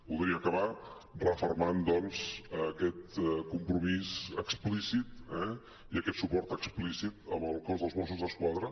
voldria acabar refermant doncs aquest compromís explícit i aquest suport explícit amb el cos dels mossos d’esquadra